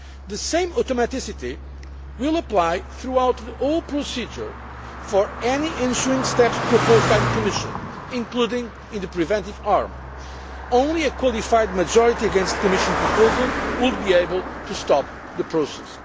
The same automaticity will apply throughout the whole procedure for any ensuing steps proposed by the Commission, including the preventive arm. Only a qualified majority against the Commission proposal would be able to stop the